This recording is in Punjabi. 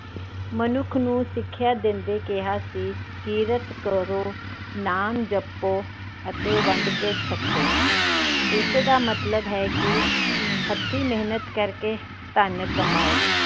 ਮਨੁੱਖ ਨੂੰ ਸਿੱਖਿਆ ਦਿੰਦੇ ਕਿਹਾ ਸੀ। ਕਿਰਤ ਕਰੋ, ਨਾਮ ਜਪੋ ਅਤੇ ਵੰਡ ਕੇ ਛਕੋ। ਇਸ ਦਾ ਮਤਲਬ ਹੈ ਕਿ ਹੱਥੀ ਮੇਹਨਤ ਕਰਕੇ ਧੰਨ ਕਮਾਉ।